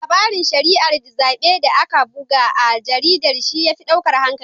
Larabin shari'ar zaɓe da aka buga a jaridar shi ya fi ɗaukar hankalina.